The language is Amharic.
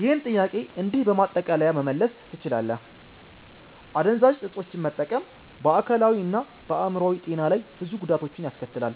ይህን ጥያቄ እንዲህ በማጠቃለያ መመለስ ትችላለህ፦ አደንዛዥ እፆችን መጠቀም በአካላዊ እና በአዕምሮአዊ ጤና ላይ ብዙ ጉዳቶችን ያስከትላል።